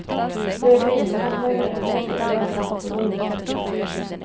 Det regnar, men regnet drar snabbt förbi.